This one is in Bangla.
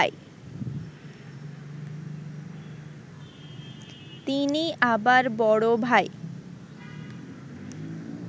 তিনি আবার বড় ভাই